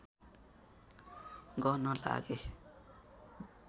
गर्न लागेँ